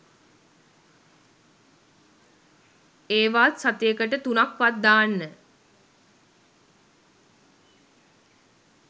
ඒවාත් සතියකට තුනක් වත් දාන්න.